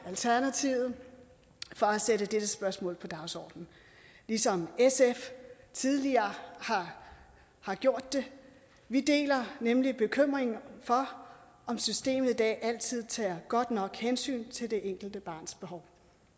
alternativet for at sætte dette spørgsmål på dagsordenen ligesom sf tidligere har gjort det vi deler nemlig bekymringen for om systemet i dag altid tager godt nok hensyn til det enkelte barns behov